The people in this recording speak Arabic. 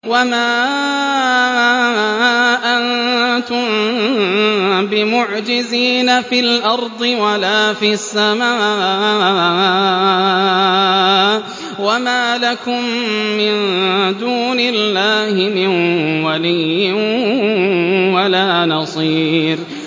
وَمَا أَنتُم بِمُعْجِزِينَ فِي الْأَرْضِ وَلَا فِي السَّمَاءِ ۖ وَمَا لَكُم مِّن دُونِ اللَّهِ مِن وَلِيٍّ وَلَا نَصِيرٍ